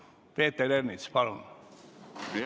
Peeter Ernits, palun!